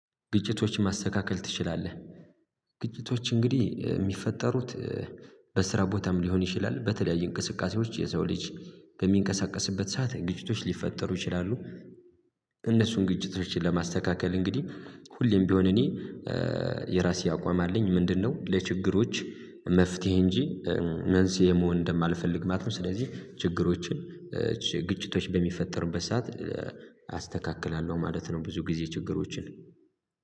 ግጭቶችን ማስተካከል ትችላለህ? ግጭቶች እንግዲህ የሚፈጠሩት በስራ ቦታም ሊሆን ይችላል በተለያዩ እንቅስቃሴዎች የሰው ልጅ በሚንቀሳቀስበት ሰዓት ግጭቶች ሊፈጠሩ ይችላሉ። እነሱን ግጭት ለማስተካከል እንግዲህ ሁሌም ቢሆን እኔ የራሴ አቋም አለኝ። ምንድነው ለችግሮች መፍትሄ እንጂ መንስኤ መሆን እንደማልፈልግ ማለት ነው። ስለዚህ ችግሮችን ግጭቶች በሚፈጠርበት ሰዓት አስተካክላለሁ ማለት ነው ብዙ ጊዜ ችግሮችን።